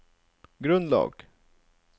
grunnlag